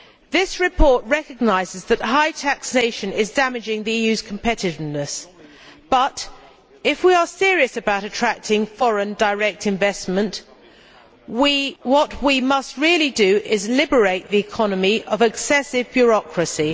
This report recognises that high taxation is damaging the EU's competitiveness but, if we are serious about attracting foreign direct investment, then what we must really do is liberate the economy from excessive bureaucracy.